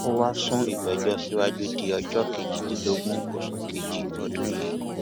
ó wáá sún ìgbẹjọ síwájú di ọjọ kejìdínlógún oṣù kejì ọdún yìí